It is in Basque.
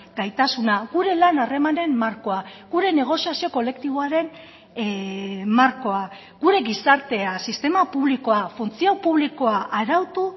gaitasuna gure lan harremanen markoa gure negoziazio kolektiboaren markoa gure gizartea sistema publikoa funtzio publikoa arautu